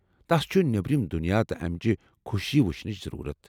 تس چُھ نیٔبرِم دنیاہ تہٕ امچہِ خوٚشیہِ وُچھنٕچ ضرورتھ ۔